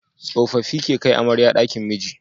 Tsofaffi ke kai amarya dakin miji